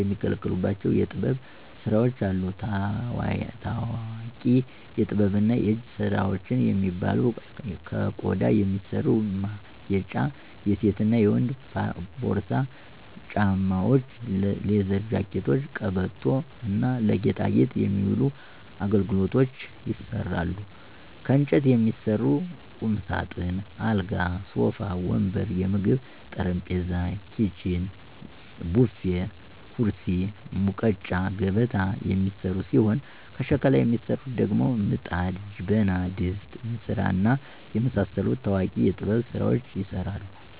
የሚገለገሉባቸው የጥበብ ስራዎች አሉ። ታዎቂ የጥበብና የእጅ ስራዎች የሚባሉ ከቆዳ የሚሰሩ ማጌጫ የሴትና የወንድ ፖርሳ፣ ጫማዎች፣ ሌዘር ጃኬቶች፣ ቀበቶ እና ለጌጣጌጥ የሚውሉ አገልግሎች ይሰራሉ። ከእንጨት የሚሰሩ ቁምሳጥን፣ አልጋ፣ ሶፋ ወንበር፣ የምግብ ጠረጴዛ፣ ኪችን፣ ቡፌ፣ ኩርሲ፣ ሙቀጫ፣ ገበታ የሚሰሩ ሲሆን ከሸክላ የሚሰሩት ደግሞ ምጣድ፣ ጀበና፣ ድስት፣ እንስራ፣ እና የመሳሰሉት ታዎቂ የጥበብ ስራዎች ይሰራሉ።